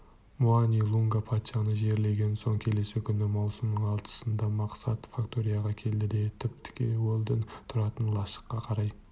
муани-лунга патшаны жерлеген соң келесі күні маусымң алтысында мақсат факторияға келді де тіп-тіке уэлдон тұратын лашыққа қарай